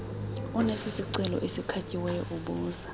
onesicelo esikhatyiweyo ubuza